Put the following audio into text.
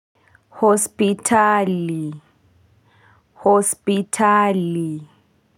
Hospitali hospitali.